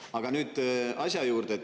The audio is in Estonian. Aga nüüd asja juurde.